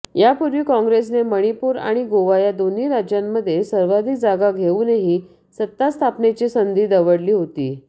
यापूर्वी काँग्रेसने मणिपूर आणि गोवा या दोन्ही राज्यांमध्ये सर्वाधिक जागा घेउनही सत्तास्थापनेची संधी दवडली होती